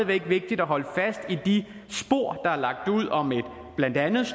væk vigtigt at holde fast i de spor der er lagt ud om blandt andet